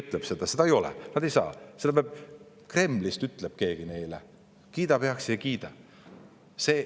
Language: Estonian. Nad ei saa, Kremlist ütleb keegi neile, kas kiidab midagi heaks või ei kiida.